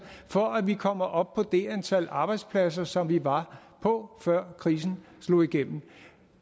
for at vi kommer op på det antal arbejdspladser som vi var på før krisen slog igennem